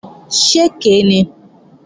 Ṣé èké ni?